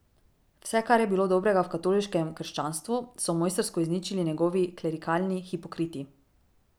Vse, kar je bilo dobrega v katoliškem krščanstvu, so mojstrsko izničili njegovi klerikalni hipokriti.